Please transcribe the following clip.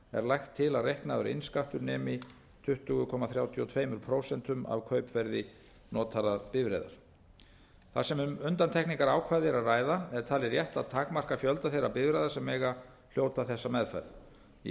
lagt til að reiknaður innskattur nemi tuttugu komma þrjátíu og tvö prósent af kaupverði notaðrar bifreiðar þar sem um undantekningarákvæði er að ræða er talið rétt að takmarka fjölda þeirra bifreiða sem mega hljóta þessa meðferð í